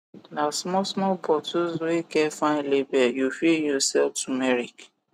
na small small bottles wey get fine label u fit use sell tumeric